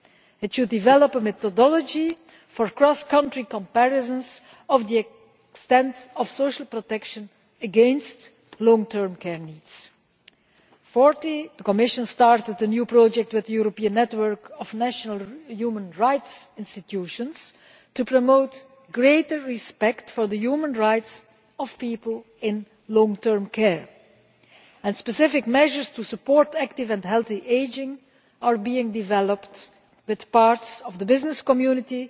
It should develop a methodology for cross country comparisons of the extent of social protection against long term care needs. Fourthly, the Commission started a new project with the European Network of National Human Rights Institutions to promote greater respect for the human rights of people in long term care. Specific measures to support active and healthy ageing are being developed with parts of the business community